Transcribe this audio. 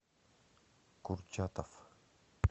курчатов